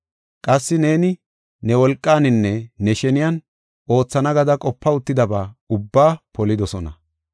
Qassi neeni ne wolqaaninne ne sheniyan oothana gada qopa uttidaba ubbaa polidosona.